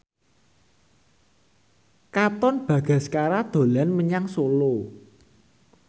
Katon Bagaskara dolan menyang Solo